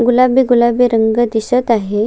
गुलाबी गुलाबी रंग दिसत आहे.